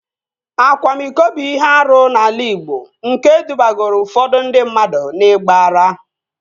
Akwamiko bụ ihe arụ n'ala igbo nke dubagoro ụfọdụ ndị mmadụ n'igba ara